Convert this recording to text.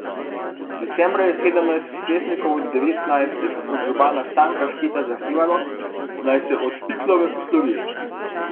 Decembra je sedemnajst svetnikov od devetnajstih od župana Stanka Šketa zahtevalo, naj se od Pilkove poslovi.